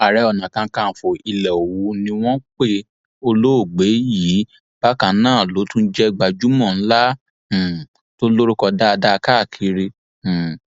ààrẹ onakàkànfọ ilẹ òwú ni wọn pe olóògbé yìí bákan náà ló tún jẹ gbajúmọ ńlá um tó lórúkọ dáadáa káàkiri um